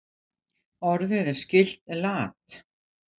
Orðið er skylt lat.